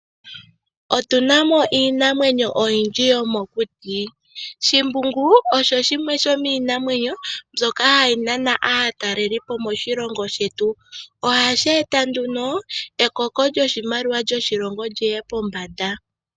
Otu na mo iinamwenyo oyindji yomokuti. Shimbungu osho shimwe shomiinamwenyo mbyoka hayi nana aatalelipo moshilongo shetu. Ohashi eta nduno ekoko lyoshimaliwa lyoshilongo lyiye pombanda.